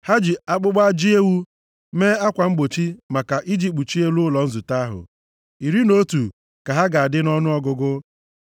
Ha ji akpụkpọ ajị ewu mee akwa mgbochi maka i ji kpuchie elu ụlọ nzute ahụ. Iri na otu ka ha ga-adị nʼọnụọgụgụ.